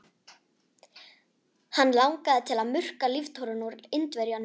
Hann langaði til að murka líftóruna úr Indverjanum.